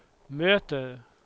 möter